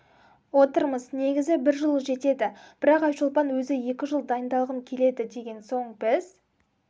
отырмыз негізі бір жыл жетеді бірақ айшолпан өзі екі жыл дайындалғым келеді деген соң біз